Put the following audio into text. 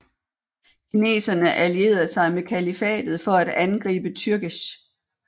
Kineserne allierede sig med kalifatet for at angribe türgesh